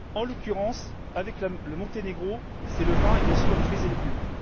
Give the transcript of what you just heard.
En l'occurrence, avec le Monténégro, c'est le vin et, bien sûr, les fruits et légumes.